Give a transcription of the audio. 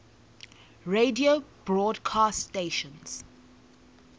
radio broadcast stations